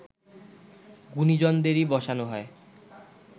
গুণীজনদেরই বসানো হয়